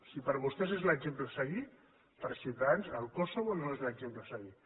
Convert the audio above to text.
si per vostès és l’exemple a seguir per ciutadans el kosovo no és l’exemple a seguir